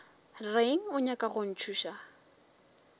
reng o nyaka go ntšhoša